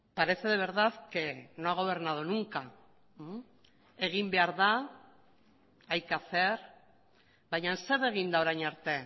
parece de verdad que no ha gobernado nunca egin behar da hay que hacer baina zer egin da orain arte